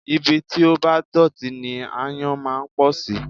Ibi tí ó bá dọ̀tí ni aáyán máa ń pọ̀ sí